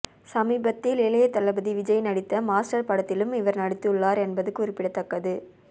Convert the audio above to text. சமீபத்தில் இளையதளபதி விஜய் நடித்த மாஸ்டர் படத்திலும் இவர் நடித்துள்ளார் என்பது குறிப்பிடத்தக்கது